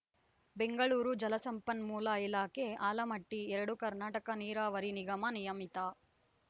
ಬೆಂಗಳೂರು ಜಲಸಂಪನ್ಮೂಲ ಇಲಾಖೆ ಆಲಮಟ್ಟಿ ಎರಡು ಕರ್ನಾಟಕ ನೀರಾವರಿ ನಿಗಮ ನಿಯಮಿತ